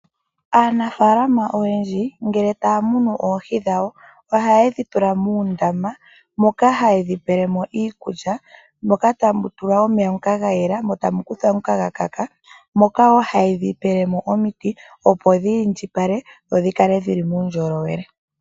Aanafalama oyendji ngele taya munu oohi dhawo ohaye dhi tula muundama moka haye dhi pelemo iikulya moka tamu tulwa omeya ngoka ga yela mo tamu kuthwa ga kaka moka wo haye dhi pelemo omiti opo dhiindjipale dho dhi kale dhili muundjolowele.